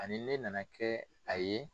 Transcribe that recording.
Ani ne nana kɛ a ye.